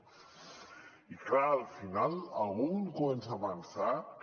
i clar al final algú comença a pensar que